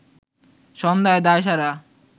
সন্ধ্যায় দায়সারা